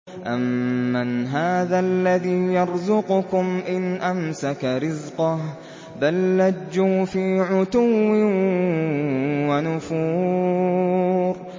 أَمَّنْ هَٰذَا الَّذِي يَرْزُقُكُمْ إِنْ أَمْسَكَ رِزْقَهُ ۚ بَل لَّجُّوا فِي عُتُوٍّ وَنُفُورٍ